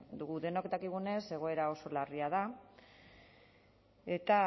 dugu denok dakigunez egoera oso larria da eta